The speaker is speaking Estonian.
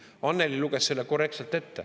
Annely luges selle korrektselt ette.